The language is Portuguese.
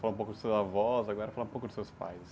Falamos um pouco da seus avós, agora falar um pouco dos seus pais.